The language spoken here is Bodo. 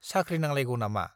साख्रि नांलायगौ नामा?